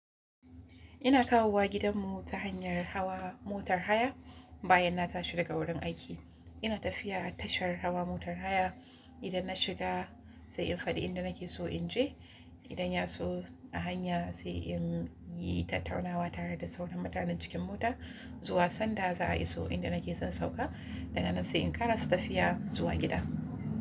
Ina kawowa gidanmu ta hanyar hawa motar haya bayan na tashi daga wurin aiki. Ina tafiya a tashar hawa motar haya. Idan na shiga sai in faɗi inda nake so in je. Idan ya so a hanya sai in yi tattaunawa tare da sauran mutanen cikin mota zuwa sanda za a iso inda nake son sauka, daga nan sai in ƙarasa tafiya zuwa gida.